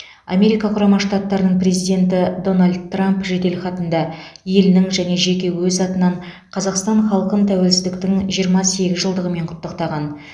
америка құрама штаттарының президенті дональд трамп жеделхатында елінің және жеке өз атынан қазақстан халқын тәуелсіздіктің жиырма сегіз жылдығымен құттықтаған